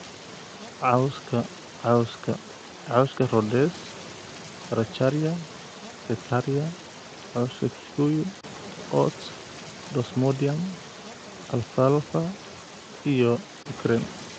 Cawska cawska: cawska Rhodes, bracharia, setaria, cawska kikuyu, oats, desmodium, Alfalfa iyo lucerne